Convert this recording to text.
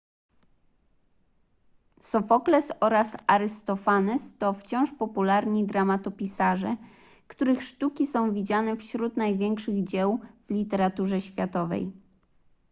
sofokles oraz arystofanes to wciąż popularni dramatopisarze których sztuki są widziane wśród największych dzieł w literaturze światowej